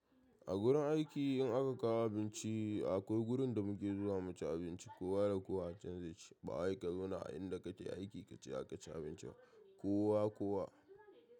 A gurin aiki in aka kawo abinci akwai gurin da muke zuwa mu ci abinci kowa da kowa can zai ci. Bawai ka zauna a inda kake aiki ka ci abinci ba kowa kowa.